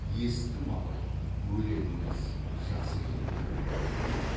есіттім абай өлеңіңіз жақсы екен деді